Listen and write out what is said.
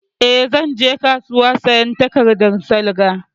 Eh, zan je kasuwa sayan takardan salga